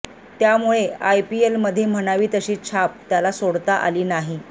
त्यामुळे आयपीएलमध्ये म्हणावी तशी छाप त्याला सोडता आली नाही